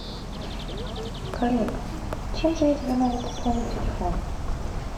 коллега чем же я тебе могу пополнить телефон